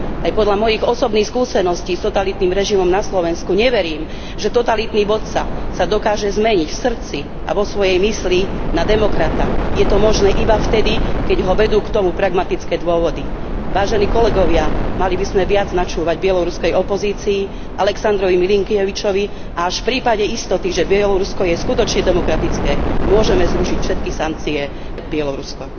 Aj podľa mojich osobných skúseností s totalitným režimom na Slovensku neverím, že totalitný vodca sa dokáže zmeniť v srdci a vo svojej mysli na demokrata, je to možné iba vtedy, keď ho vedú k tomu pragmatické dôvody. Vážení kolegovia, mali by sme viac načúvať bieloruskej opozícii, Alexandrovi Milinkievičovi a až v prípade istoty, že Bielorusko je skutočne demokratické, môžeme zrušiť všetky sankcie Bielorusku.